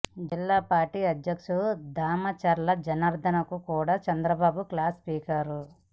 జిల్లా పార్టీ అద్యక్షుడు దామచర్ల జనార్ధన్కు కూడా చంద్రబాబు క్లాస్ పీకారు